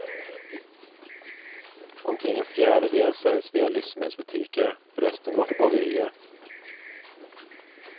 Omkring en fjärdedel säljs via livsmedelsbutiker, resten går till bagerier.